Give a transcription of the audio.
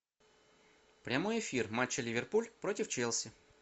прямой эфир матча ливерпуль против челси